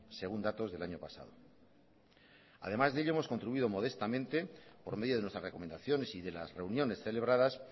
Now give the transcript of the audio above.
según datos del año pasado además de ello hemos contribuido modestamente por medio de nuestras recomendaciones y de las reuniones celebradas